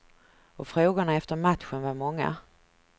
Och frågorna efter matchen var många.